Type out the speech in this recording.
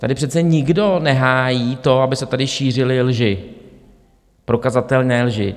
Tady přece nikdo nehájí to, aby se tady šířily lži, prokazatelné lži.